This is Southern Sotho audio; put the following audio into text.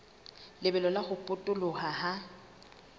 lebelo la ho potoloha ha